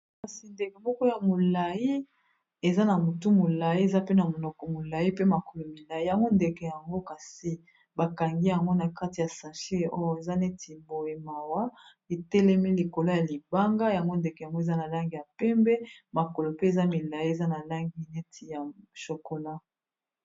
Kasi ndeke moko ya molayi eza na motu molayi eza pe na monoko molayi pe makolo milayi yango ndeke yango kasi bakangi yango na kati ya sachet oyo eza neti boye mawa etelemi likolo ya libanga yango ndeke yango eza na langi ya pembe makolo pe eza milayi eza na langi neti ya chokola.